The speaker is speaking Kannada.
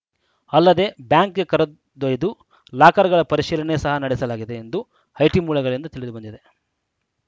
ಅಲ್ಲದೇ ಬ್ಯಾಂಕ್‌ಗೆ ಕರೆದೊಯ್ದು ಲಾಕರ್‌ಗಳ ಪರಿಶೀಲನೆ ಸಹ ನಡೆಸಲಾಗಿದೆ ಎಂದು ಐಟಿ ಮೂಲಗಳಿಂದ ತಿಳಿದು ಬಂದಿದೆ